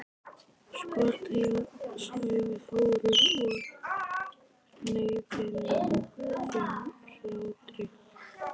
Sko til, sagði Þórður og hneggjaði löngum hlátri.